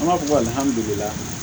An b'a fɔ